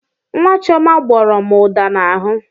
Nwa Chioma gbọrọ m ụda n'ahụ.